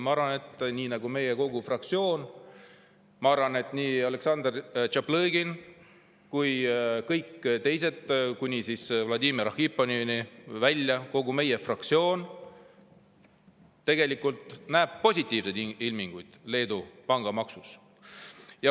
Ma arvan, et kogu meie fraktsioon, nii Aleksandr Tšaplõgin kui ka kõik teised, kuni Vladimir Arhipovini välja, kogu meie fraktsioon näeb positiivseid ilminguid Leedu pangamaksus.